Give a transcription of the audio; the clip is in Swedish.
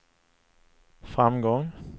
framgång